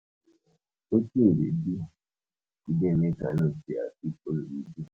Wetin you dey do today make i know say i fit follow you do?